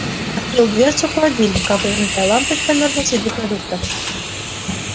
открыл дверцу холодильника вывернутая лампочка мёрзла среди продуктов